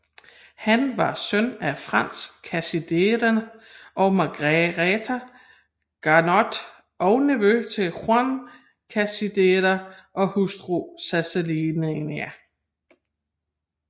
Han var søn af Franz Cachedenier og Margaretha Gaynoth og nevø til Juan Cachedenier og hustru Sansiellani